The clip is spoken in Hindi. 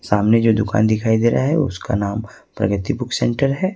सामने जो दुकान दिखाई दे रहा है उसका नाम प्रगति बुक सेंटर है।